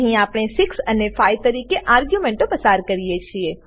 અહીં આપણે 6 અને 5 તરીકે આર્ગ્યુંમેંટો પસાર કરીએ છીએ